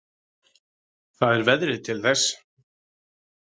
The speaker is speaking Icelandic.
Það er veðrið til þess.